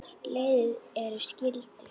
Leiðir þeirra skildu.